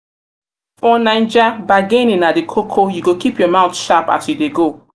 naija bargaining na di koko you go keep your mouth sharp as you dey go.